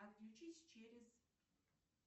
отключись через